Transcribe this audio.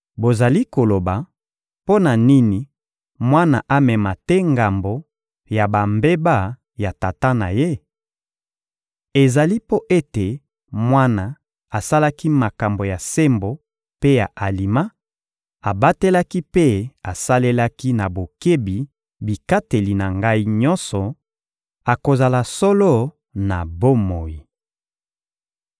Bozali koloba: ‹Mpo na nini mwana amema te ngambo ya bambeba ya tata na ye?› Ezali mpo ete mwana asalaki makambo ya sembo mpe ya alima, abatelaki mpe asalelaki na bokebi bikateli na Ngai nyonso, akozala solo na bomoi.